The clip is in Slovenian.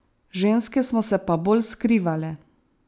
Ženske smo se pa bolj skrivale.